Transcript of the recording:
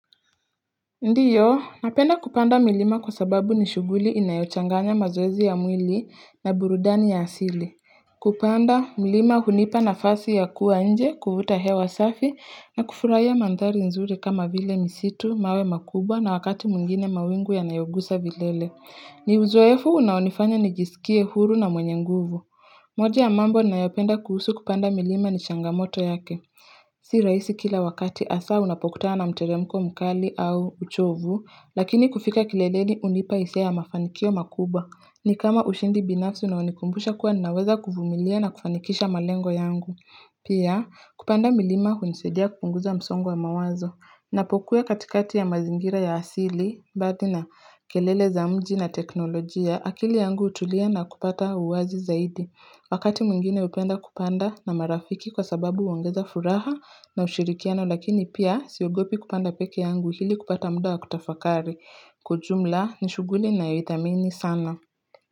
Ndiyo, napenda kupanda milima kwa sababu ni shughuli inayochanganya mazoezi ya mwili na burudani ya asili. Kupanda, milima hunipa na fasi ya kuwa nje, kuvuta hewa safi, na kufurahia mandhari nzuri kama vile misitu, mawe makubwa na wakati mwingine mawingu yanayogusa vilele. Ni uzoefu unaonifanya nijisikie huru na mwenye nguvu. Moja ya mambo, ninayopenda kuhusu kupanda milima ni changamoto yake. Si rahisi kila wakati hasaa unapokutana na mteremko mkali au uchovu, lakini kufika kileleni hunipa hisia ya mafanikio makubwa. Ni kama ushindi binafsi unaonikumbusha kuwa naweza kuvumilia na kufanikisha malengo yangu. Pia, kupanda milima hunisadia kupunguza msongo wa mawazo. Napokwea katikati ya mazingira ya asili, mbali na kelele za mji na teknolojia, akili yangu hutulia na kupata uwazi zaidi. Wakati mwingine hupenda kupanda na marafiki kwa sababu huongeza furaha na ushirikiano lakini pia siogopi kupanda pekee yangu ili kupata muda wa kutafakari. Kwa ujumla ni shughuli ninayoithamini sana.